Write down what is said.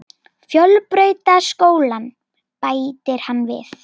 Fjölbrautaskólann, bætir hann við.